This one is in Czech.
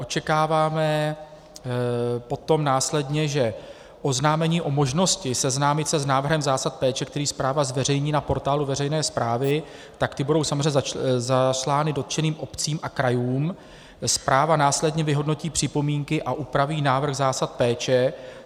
Očekáváme potom následně, že oznámení o možnosti seznámit se s návrhem zásad péče, který správa zveřejní na portálu veřejné správy, tak ty budou samozřejmě zaslány dotčeným obcím a krajům, správa následně vyhodnotí připomínky a upraví návrh zásad péče.